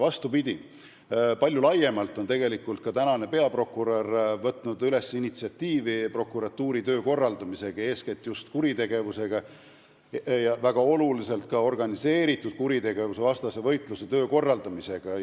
Vastupidi, praegune peaprokurör on tegelikult üles näinud suurt initsiatiivi prokuratuuri töö korraldamisel, eeskätt just kuritegevuse ja väga olulisel määral just organiseeritud kuritegevuse vastase võitluse korraldamisel.